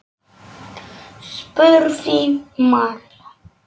spurði María.